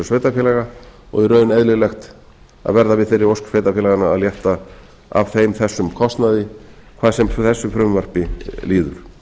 sveitarfélaga og í raun eðlilegt að verða við þeirri ósk sveitarfélaganna að létta af þeim þessum kostnaði hvað sem þessu frumvarpi líður